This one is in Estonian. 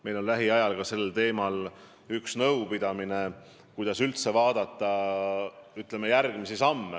Meil on lähiajal sel teemal üks nõupidamine, kuidas üldse järgmisi samme astuda.